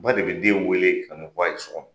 Ba de be den wele ka n'o fɔ a ye so kɔnɔ.